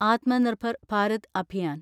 Atmanirbhar Bharat Abhiyan